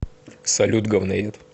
салют говноед